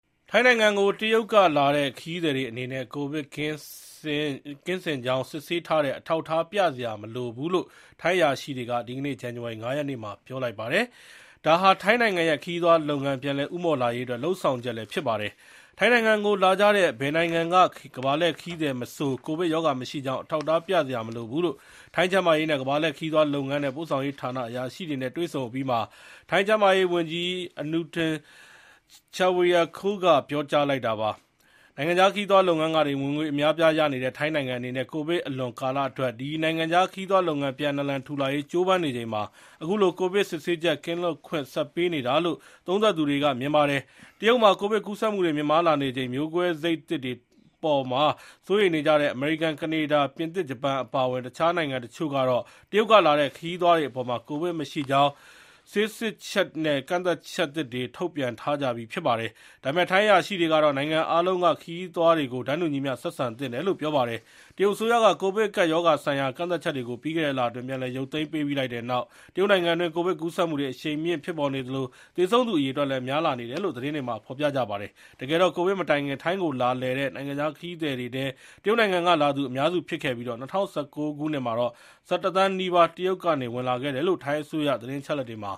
ထိုင်းနိုင်ငံကို တရုတ်ကလာတဲ့ ခရီးသည်တွေအနေနဲ့ ကိုဗစ်ကင်းစင်ကြောင်း စစ်ဆေးထားတဲ့ အထောက်အထား ပြစရာမလိုဘူးလို့ ထိုင်းအရာရှိတွေက ဒီကနေ့ ဇန်နဝါရီ ၅ ရက်နေ့မှာ ပြောလိုက်ပါတယ်။ ဒါဟာ ထိုင်းနိုင်ငံရဲ့ခရီးသွားလုပ်ငန်း ပြန်လည် ဦးမော့လာရေးအတွက် လုပ်ဆောင်ချက်လည်း ဖြစ်ပါတယ်။ ထိုင်းနိုင်ငံကို လကြတဲ့ ဘယ်နိုင်ငံကကမ္ဘာလှည့်ခရီးသည်မဆို ကိုဗစ်ရောဂါမရှိကြောင်း အထောက်အထားပြစရာမလိုဘူးလို့ ထိုင်းကျန်းမာရေး၊ ကမ္ဘာလှည့်ခရီးသွားလုပ်ငန်းနဲ့ ပို့ဆောင်ရေးဌာနတွေက အရာရှိတွေနဲ့ တွေ့ဆုံအပြီးမှာ ထိုင်းကျန်းမာရေးဝန်ကြီး Anutin Charnvirakul က ပြောကြားလိုက်တာပါ။ နိုင်ငံခြားခရီးသွားလုပ်ငန်းကနေ ဝင်ငွေအများအပြားရနေတဲ့ ထိုင်းနိုင်ငံအနေနဲ့ ကိုဗစ်အလွန်ကာလအတွက် ဒီ နိုင်ငံခြားခရီးသွားလုပ်ငန်း ပြန်နာလန်ထူလာရေး ကြိုးပမ်းနေချိန်မှာ အခုလို ကိုဗစ်စစ်ဆေးချက် ကင်းလွတ်ခွင့်ဆက်ပေးနေတာလို့ သုံးသပ်သူတွေက မြင်ပါတယ်။ တရုတ်မှာ ကိုဗစ်ကူးစက်မှုတွေပြန်မြင့်မားလာနေချိန် မျိုးကွဲစိတ်သစ်တွေထပ်ပေါ်မှာ စိုးရိမ်ကြတဲ့ အမေရိကန်၊ ကနေဒါ၊ ပြင်သစ်၊ ဂျပန်အပါအဝင် တခြားနိုင်ငံတချို့ကတော့ တရုတ်ကလာတဲ့ ခရီးသွားတွေအပေါ် ကိုဗစ်မရှိကြောင်း ဆေးစစ်ချက်နဲ့ ကန့်သတ်ချက်သစ်တွေ ထုတ်ပြန်ထားကြပြီး ဖြစ်ပါတယ်။ ဒါပေမယ့် ထိုင်းအရာရှိတွေကတော့ နိုင်ငံအားလုံးက ခရီးသွားတွေကို တန်းတူညီမျှ ဆက်ဆံသင့်တယ်လို့ ပြောပါတယ်။ တရုတ်အစိုးရက ကိုဗစ်ကပ်ရောဂါဆိုင်ရာ ကန့်သတ်ချက်တွေကို ပြီးခဲ့တဲ့လအတွင်း ပြန်လည် ရုပ်သိမ်းပေးလိုက်ပြီးတဲ့နောက် တရုတ်နိုင်ငံအတွင်း ကိုဗစ်ကူးစက်မှုတွေ အရှိန်မြင့်ဖြစ်ပေါ်နေသလို သေဆုံးသူအရေအတွက်လည်း များပြားလာနေတယ်လို့ သတင်းတွေမှာ ဖော်ပြကြပါတယ်။ တကယ်တော့ ကိုဗစ်မတိုင်ခင် ထိုင်းကိုလာလည်တဲ့ နိုင်ငံခြားသားခရီးသည်တွေထဲ တရုတ်နိုင်ငံကလာသူ အများစုဖြစ်ခဲ့ပြီး ၂၀၁၉ ခုနှစ်မှာ ၁၁ သန်းနီးပါး တရုတ်ကဝင်လာခဲ့တယ်လို့ ထိုင်းအစိုးရ သတင်းအချက်အလက်တွေမှာ